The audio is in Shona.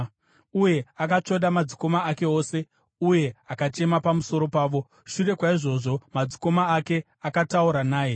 Uye akatsvoda madzikoma ake ose uye akachema pamusoro pavo. Shure kwaizvozvo, madzikoma ake akataura naye.